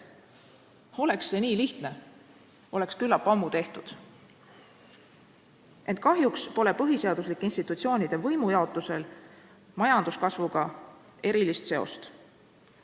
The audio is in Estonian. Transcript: Kui see oleks nii lihtne, siis oleks see küllap ammu tehtud, ent kahjuks pole põhiseaduslike institutsioonide võimujaotusel majanduskasvuga erilist seost.